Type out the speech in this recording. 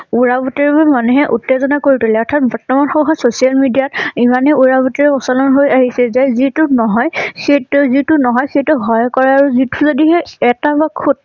উৰা বাটোৰিবোৰ মানুহে উত্তেজনা কৰি পেলাই অৰ্থাৎ বৰ্তমান সময়ত social media ইমানেই উৰা বাতৰি প্ৰচলন হৈ আহিছে যে যিটো নহয় সেইটো যিটো নহয় সেইটো হয় কৰে আৰু যিটো যদিহে এটা বা খুত